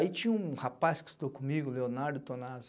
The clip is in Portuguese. Aí tinha um rapaz que estudou comigo, Leonardo Tonazzo.